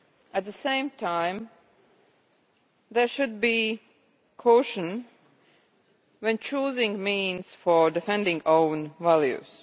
At the same time, there should be caution when choosing the means for defending our own values.